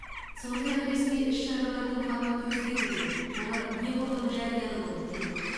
сондай ақ ресми іс шаралардың форматы өзгеруде олар неғұрлым жариялы болып келеді